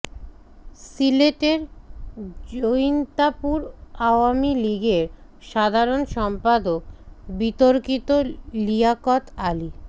সিলেটের জৈন্তাপুর আওয়ামী লীগের সাধারণ সম্পাদক বিতর্কিত লিয়াকত আলী